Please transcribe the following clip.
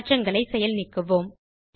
மாற்றங்களை செயல் நீக்குவோம்